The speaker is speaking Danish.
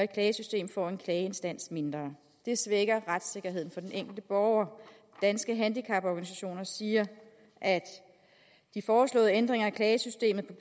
klagesystem får en klageinstans mindre og det svækker retssikkerheden for den enkelte borger danske handicaporganisationer siger at de foreslåede ændringer i klagesystemet